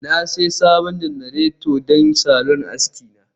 Na sayi sabon janareta don salon aski na